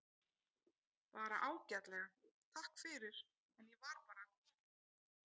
Bara ágætlega, takk fyrir, en ég var bara að koma.